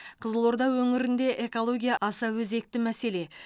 қызылорда өңірінде экология аса өзекті мәселе